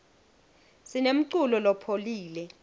sinemculo lopholile